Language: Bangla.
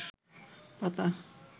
পাতা